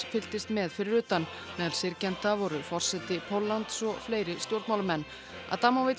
fylgdist með fyrir utan meðal syrgjenda voru forseti Póllands og fleiri stjórnmálamenn